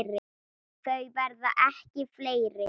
Þau verða ekki fleiri.